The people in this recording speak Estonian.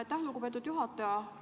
Aitäh, lugupeetud juhataja!